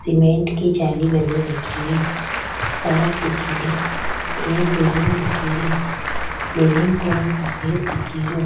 Cement की जाली बनी दिख रि सड़क दिखेरी एक बिल्डिंग दिखेरी बिल्डिंग को रंग सफ़ेद दिखे रो।